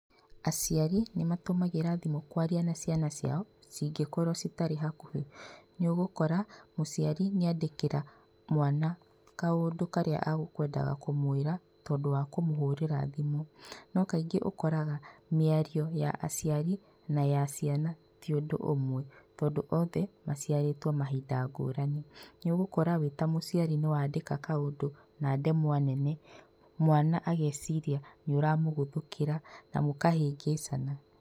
Aciari nĩ matũmagĩra thimũ kwaria na ciana ciao cingĩkorwo citarĩ hakuhĩ, nĩ ũgũkora mũciari nĩ andĩkĩra mwana kaũndũ karĩa akwendaga kũmwĩra tondũ wa kũmũhũrĩra thimũ, no kaingĩ ũkoraga mĩario ya aciari na ya ciana ti ũndũ ũmwe tondũ othe maciarĩtwo mahinda ngũrani, nĩ ũgũkora wĩta mũciari nĩ wandĩka kaũndũ na ndemwa nene mwana ageciria nĩ ũramũgũthũkĩra na mũkahĩngĩcana.